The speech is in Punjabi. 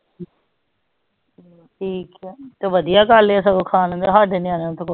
ਠੀਕ ਹੈ ਤੇ ਬਦਿਆ ਗੱਲ ਹੈ ਸਗੋਂ ਖਾਣੇ ਦਾ ਸਾਡੇ ਨਿਆਣੇ ਤੇ ਪੁੱਛ